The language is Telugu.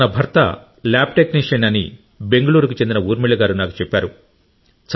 తన భర్త ల్యాబ్ టెక్నీషియన్ అని బెంగళూరుకు చెందిన ఊర్మిళ గారు నాకు చెప్పారు